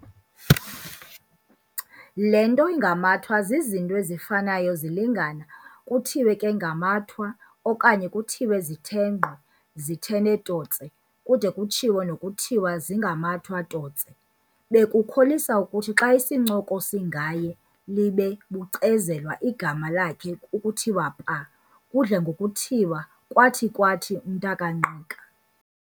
Le nto ingamatwa zizinto ezifanayo zilingana, kuthiwe ke ngamatwa, okanye kuthiwe zitenqwa, zithene totse, kude kutshiwo nokutiwa, zingamatwa totse. Bekukholisa ukuthi xa isincoko singaye, libe bucezelwa igama lakhe ukuthiwa pa, kudle ngokuthiwa- "Kwathi, kwathi umntakaNgqika."